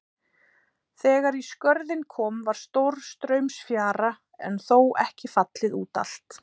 Þegar í Skörðin kom var stórstraumsfjara en þó ekki fallið út allt.